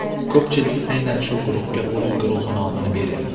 Ko‘pchilik aynan shu guruhga o‘lim guruhi nomini beryapti.